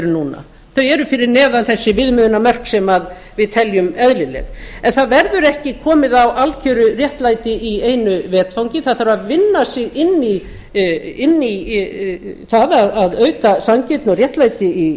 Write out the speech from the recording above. núna þau eru fyrir neðan þessi viðmiðunarmörk sem við teljum eðlileg en það verður ekki komið á algeru réttlæti í einu vetfangi það þarf að vinna sig inn í það að auka sanngirni og réttlæti